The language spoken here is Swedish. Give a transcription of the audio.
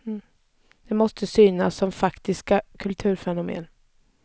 De måste synas som faktiska kulturfenomen.